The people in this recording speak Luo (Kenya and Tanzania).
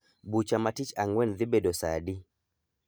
Bucha ma tich ang'wen dhi bedo saa adi?